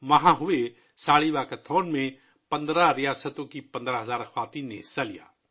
15 ریاستوں سے 15,000 خواتین نے وہاں منعقد 'ساڑی واکاتھون' میں حصہ لیا